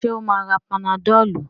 Ṣé ó máa ra panadol?